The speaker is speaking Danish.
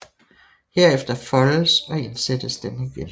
Herefter foldes og indsættes den igen